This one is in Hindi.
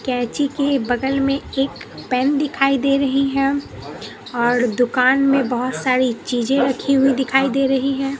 कैंची के बगल में एक पैन दिखाई दे रही है और दुकान में बहोत सारी चीज़ें रखी हुई दिखाई दे रही है।